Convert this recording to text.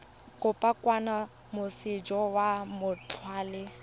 kopo kwa moseja wa mawatle